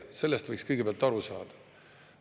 Sellest võiks kõigepealt aru saada.